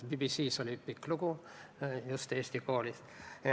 BBC-s oli Eesti koolist pikk lugu.